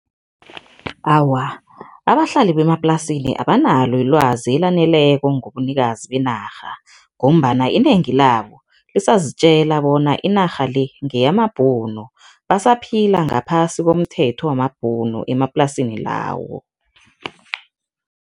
Awa, abahlali bemaplasini abanalo ilwazi elaneleko ngobunikazi benarha ngombana inengi labo lisazitjela bona inarha le ngeyamabhunu, basaphila ngaphasi komthetho wamabhunu emaplasini lawo.